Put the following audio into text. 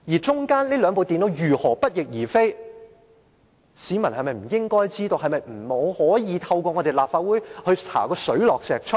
就着這兩部電腦如何不翼而飛，市民是否不應該知道，是否不可以透過立法會查個水落石出呢？